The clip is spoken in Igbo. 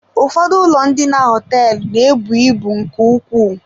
Ụfọdụ ụlọ ndina hoteelu na-ebu ibu nke ukwuu.